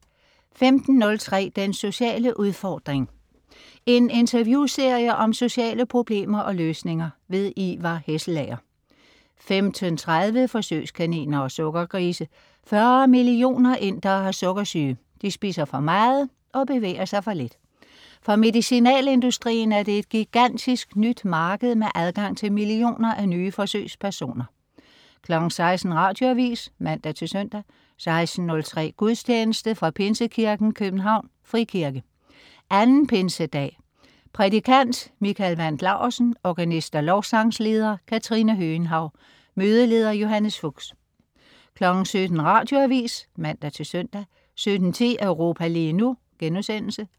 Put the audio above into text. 15.03 Den sociale udfordring. En interviewserie om sociale problemer og løsninger. Ivar Hesselager 15.30 Forsøgskaniner og sukkergrise. 40 mio. indere har sukkersyge, de spiser for meget og bevæger sig for lidt. For medicinalindustrien er det et gigantisk nyt marked med adgang til millioner af nye forsøgspersoner 16.00 Radioavis (man-søn) 16.03 Gudstjeneste. Fra Pinsekirken, København (frikirke). 2. pinsedag. Prædikant: Michael Wandt Laursen. Organist og lovsangsleder: Katrine Høgenhaug. Mødeleder: Johannes Fuchs 17.00 Radioavis (man-søn) 17.10 Europa lige nu*